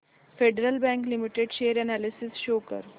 federal Bank Limited share analysis show कर